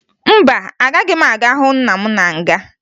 Mba, agaghị m aga hụ nna m na nga